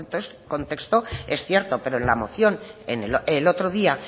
contexto es cierto pero en la moción el otro día